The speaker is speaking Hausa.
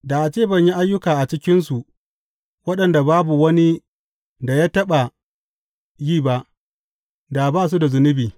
Da a ce ban yi ayyuka a cikinsu waɗanda babu wani da ya taɓa yi ba, da ba su da zunubi.